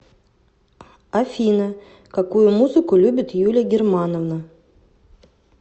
афина какую музыку любит юлия германовна